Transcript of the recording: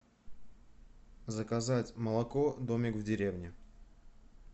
заказать молоко домик в деревне